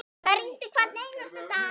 Það rigndi hvern einasta dag.